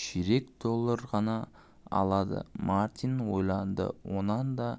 ширек доллар ғана аладымартин ойландыонан да